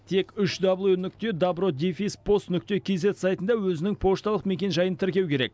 тек үш дабл ю нүкте добро дефис пост нүкте кизет сайтында өзінің пошталық мекенжайын тіркеу керек